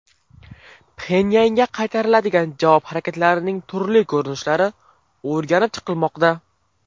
Pxenyanga qaytariladigan javob harakatlarining turli ko‘rinishlari o‘rganib chiqilmoqda.